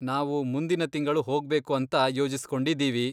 ನಾವು ಮುಂದಿನ ತಿಂಗಳು ಹೋಗ್ಬೇಕು ಅಂತ ಯೋಜಿಸ್ಕೊಂಡಿದೀವಿ.